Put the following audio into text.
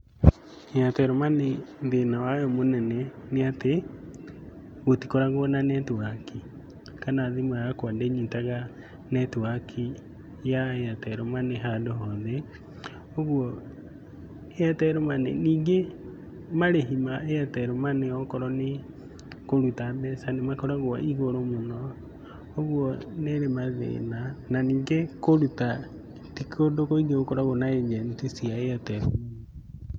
Airtel money thĩna wayo mũnene ni ati gũtikoragwo na netiwaki, kana thimũ yakwa ndĩnyitaga netiwaki ya Airtel money handũ hothe. Ũguo Airtel money, ningĩ marĩhi ma Airtel money okorwo nĩ kũruta mbeca nĩ makoragwo igũrũ mũno. Ũguo nĩ ĩrĩ mathĩna, na ningĩ kũruta ti kũndũ kuingi gũkoragwo na agent cia Airtel money.